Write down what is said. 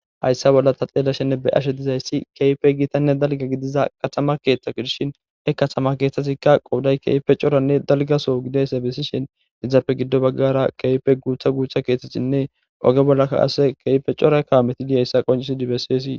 Haysa bolla ta beyashennr xelashe dizaysi gitanne dalga gidida katama ketha gidishn he katama keethazika qooday keehippe coranne dalga soho gididaysa besishn izappe giddo bagara keehippe guutha guutha kethatinne oge bollaka qase Keehippe cora kaameti dizaysa qoncisidi besesi.